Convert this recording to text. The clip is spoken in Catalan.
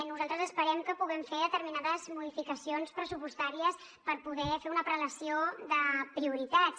nosaltres esperem que puguem fer determinades modificacions pressupostàries per poder fer una prelació de prioritats